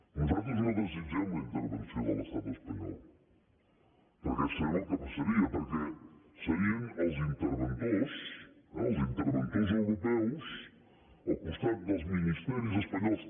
nosaltres no desitgem la intervenció de l’estat espanyol perquè sabem el que passaria perquè serien els interventors eh els interventors europeus al costat dels ministeris espanyols